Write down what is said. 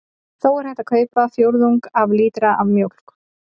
Þó er hægt að kaupa fjórðung af lítra af mjólk.